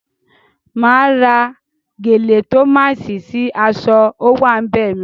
Máa ra gèlè tòmáṣì sí aṣọ áwàńbẹ̀ mi.